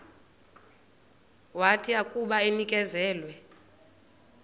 wathi akuba enikezelwe